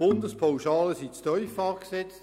Die Bundespauschalen sind zu tief angesetzt.